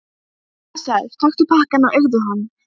Blessaður, taktu pakkann og eigðu hann.